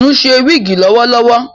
Itunu ṣe wigi lowolowo